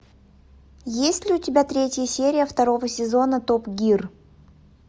есть ли у тебя третья серия второго сезона топ гир